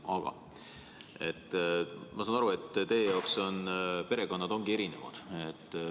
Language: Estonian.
Ma saan aru, et teie jaoks perekonnad ongi erinevad.